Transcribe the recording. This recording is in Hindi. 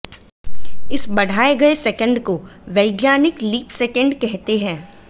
इस बढ़ाए गए सेकंड को वैज्ञानिक लीप सेकंड कहते हैं